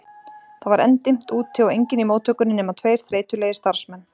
Það var enn dimmt úti og enginn í móttökunni nema tveir þreytulegir starfsmenn.